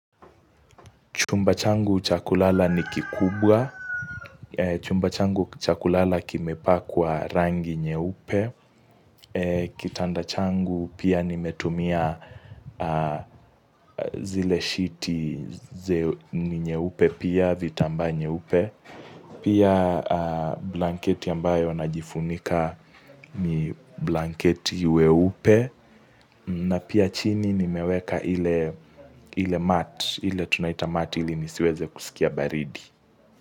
Chumba changu cha kulala ni kikubwa. Chumba changu cha kulala kimepakwa rangi nyeupe. Kitanda changu pia nimetumia zile shiti ni nyeupe pia vitamba nyeupe. Pia blanketi ambayo najifunika ni blanketi weupe na pia chini nimeweka ile mat, ile tunaita mat ili nisiweze kusikia baridi.